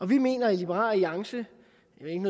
vi mener i liberal alliance